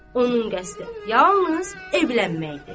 Onun qəsdi yalnız evlənməkdir.